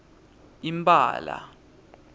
impala